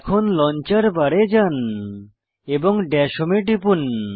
এখন লঞ্চার বারে যান এবং দাশ হোম এ টিপুন